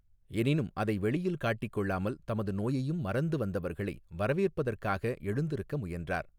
எனினும் அதை வெளியில் காட்டிக் கொள்ளாமல் தமது நோயையும் மறந்து வந்தவர்களை வரவேற்பதற்காக எழுந்திருக்க முயன்றார்.